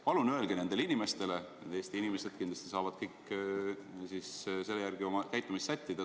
Palun öelge nendele inimestele, Eesti inimesed saavad siis kindlasti selle järgi oma käitumist sättida.